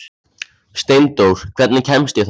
Steindór, hvernig kemst ég þangað?